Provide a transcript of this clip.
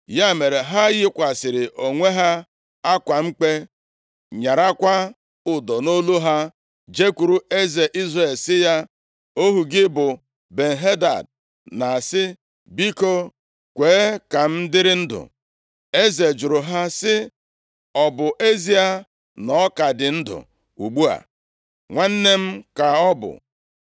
Ya mere, ha yikwasịrị onwe ha akwa mkpe, nyarakwa ụdọ nʼolu ha, jekwuru eze Izrel sị ya, “Ohu gị bụ Ben-Hadad na-asị, ‘Biko, kwee ka m dịrị ndụ.’ ” Eze jụrụ ha sị, “Ọ bụ ezie na ọ ka dị ndụ ugbu a? Nwanne m ka ọ bụ.”